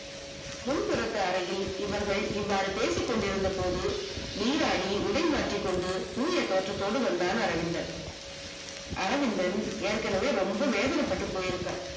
முன்திரப்பு அறையில் இவர்கள் இவ்வாறு பேசிக்கொண்டு இருந்தபோது நீராடி உடை மாற்றிக்கொண்டு தூய தோற்றத்தோடு வந்தார் அரவிந்தன். அரவிந்தன் ஏற்க்கனவே ரொம்ப வேதனை பட்டு போயிருக்கான்.